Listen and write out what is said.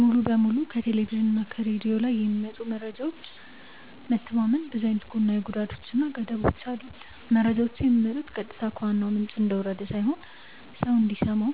ሙሉ በሙሉ ከቴሌቭዥን እና ከሬድዮ ላይ በሚመጡ መረጃዎች መተማመን ብዙ አይነት ጎናዊ ጉዳቶች እና ገደቦች አሉት። መረጃዎቹ የሚመጡት ቀጥታ ከዋናው ምንጭ እንደወረደ ሳይሆን ሰው እንዲሰማው